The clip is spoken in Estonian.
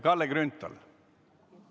Kalle Grünthal, palun!